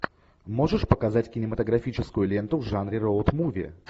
можешь показать кинематографическую ленту в жанре роуд муви